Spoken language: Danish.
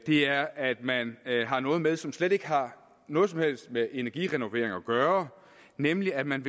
er at man har noget med som slet ikke har noget som helst med energirenovering at gøre nemlig at man